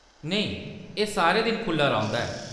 नेईं, एह्‌‌ सारे दिन खुʼल्ला रौंह्‌‌‌दा ऐ।